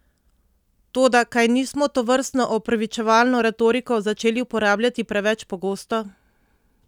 Toda kaj nismo tovrstno opravičevalno retoriko začeli uporabljati preveč pogosto?